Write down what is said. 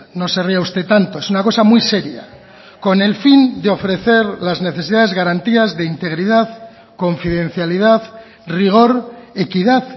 no se ría usted tanto es una cosa muy seria con el fin de ofrecer las necesidades garantías de integridad confidencialidad rigor equidad